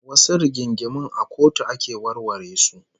Wasu rigingimun a kotu ake warware su